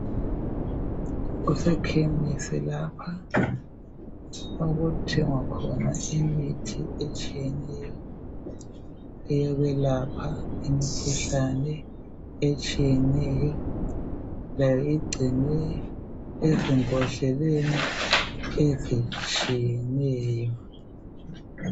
Kusekhemisi lapha okuthengwa khona imithi etshiyeneyo eyokwelapha imikhuhlane etshiyeneyo. Layo igcinwe ezimbodleleni ezitshiyeneyo.